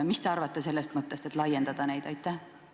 Mis te arvate sellest, et piirkondade loetelu laiendada?